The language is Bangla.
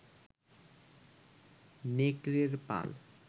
নেকড়ের পাল